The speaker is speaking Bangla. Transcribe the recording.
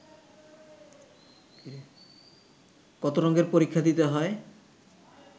কত রঙ্গের পরীক্ষা দিতে হয়